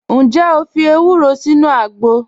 Njẹ́ o fi èwùró sínu àgbọ̀?